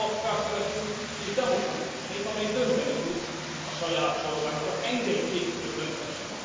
Ez egy szabadságszerető és demokratikus nép, amely dönteni tud a saját sorsáról, csak engedjék, hogy dönthessen!